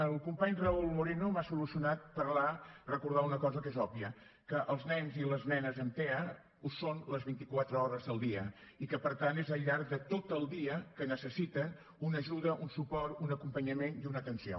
el company raúl moreno m’ha solucionat parlar recordar una cosa que és òbvia que els nens i les nenes amb tea ho són les vint i quatre hores dels dia i que per tant és al llarg de tot el dia que necessiten una ajuda un suport un acompanyament i una atenció